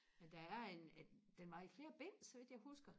men der er en den var i flere bind så vidt jeg husker